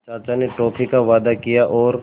चाचा ने टॉफ़ी का वादा किया और